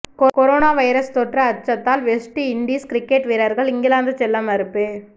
corona virus தொற்று அச்சத்தால் West Indies cricket வீரர்கள் இங்கிலாந்து செல்ல மறுப்பு